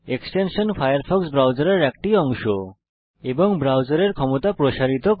extension Firefox ব্রাউজারের একটি অংশ এবং ব্রাউজারের ক্ষমতা প্রসারিত করে